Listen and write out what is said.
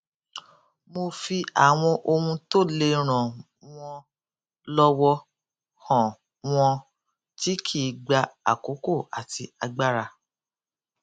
mo fi àwọn ohun tó le ràn wọn lọwọ hàn wọn tí kì í gba àkókò àti agbára